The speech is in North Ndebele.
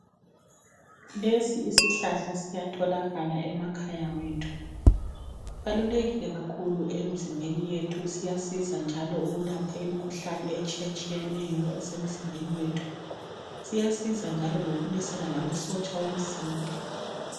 Lesi isihlahla siyatholakala emakhaya wethu. Sibalulekile kakhulu emizimbeni yethu siyasiza njalo ukulapha imikhuhlane etshiyetshiyeneyo esemizimbeni yethu siyasiza njalo lokulwisana lamasotsha omzimba.